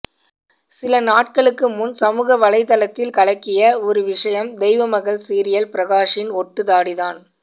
சில நாட்களுக்கு முன் சமூக வலைத்தளத்தில் கலக்கிய ஒரு விஷயம் தெய்வமகள் சீரியல் பிரகாஷின் ஒட்டு தாடிதான்